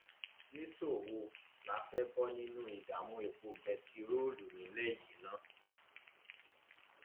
nìṣó wo la fẹẹ bọ nínú ìdààmú epo bẹntiróòlù nílẹ yìí ná